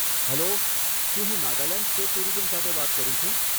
Hello, શું હું Nagaland state tourism સાથે વાત કરું છું?